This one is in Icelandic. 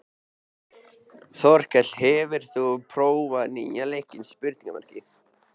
Þorkell, hefur þú prófað nýja leikinn?